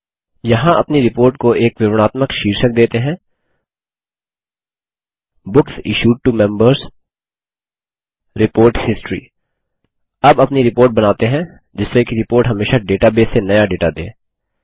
यहाँ अपनी रिपोर्ट को एक विवरणात्मक शीर्षक देते हैं books issued to Members report history अब अपनी रिपोर्ट बनाते हैं जिससे कि रिपोर्ट हमेशा डेटाबेस से नया डेटा दे